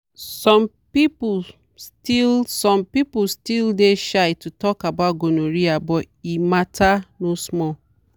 some people still some people still dey shy to talk about gonorrhea but e matter no small.